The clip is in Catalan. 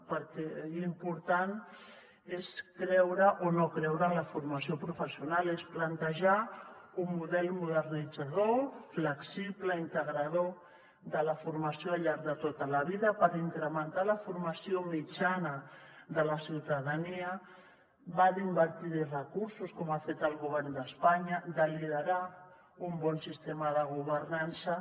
perquè l’important és creure o no creure en la formació professional és plantejar un model modernitzador flexible i integrador de la formació al llarg de tota la vida per incrementar la formació mitjana de la ciutadania va d’invertir hi recursos com ha fet el govern d’espanya de liderar un bon sistema de governança